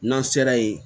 N'an sera yen